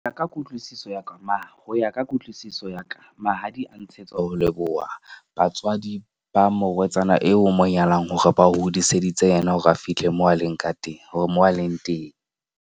Ya ka kutlwisiso ya ka ho ya ka kutlwisiso ya ka, mahadi a ntshetswa ho leboha batswadi ba morwetsana eo o mo nyalang hore ba o hodiseditse yena hore a fihle mo a leng ka teng, hore moo a leng teng.